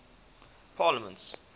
parliaments